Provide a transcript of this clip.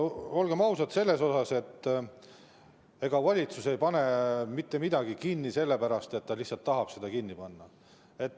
Olgem ausad, ega valitsus ei pane mitte midagi kinni sellepärast, et ta lihtsalt tahab seda kinni panna.